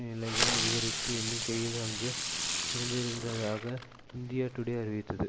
நிலைகள் அதிகரித்த எண்ணிக்கையில் அங்கு இருந்திருந்ததாக இந்தியா டுடே அறிவித்தது